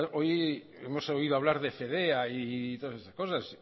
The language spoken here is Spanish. hoy hemos oído hablar de fedea y de todas esas cosas